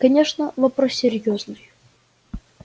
конечно вопрос серьёзный